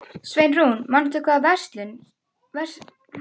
Sveinrún, manstu hvað verslunin hét sem við fórum í á laugardaginn?